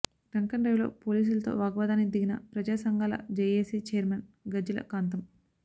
drunken drive లో పోలీసులతో వాగ్వాదానికి దిగిన ప్రజా సంఘాల జేఏసీ ఛైర్మన్ గజ్జెల కాంతం